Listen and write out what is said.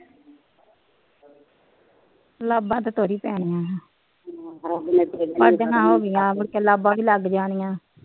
ਲਾਬਾ ਤਾ ਤੁਰ ਹੀ ਪੈਣੀਆ ਲਾਬਾ ਦਾ ਲੱਗ ਹਮ